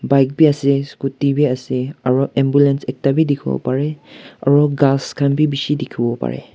bike ase scooty bhi ase aru ambulance ekta bhi bhi dekho bo pare aru gass khan bhi bisi dekhi bo pare.